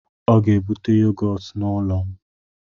Ọ ga-ebute yogọt n'ụlọ m